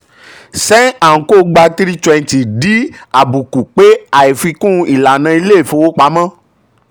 sen and co gba three hundred and twenty di àbùkù pé àìfikún ìlànà ilé ìfowopamọ́.